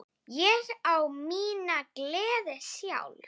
Ég á mína gleði sjálf.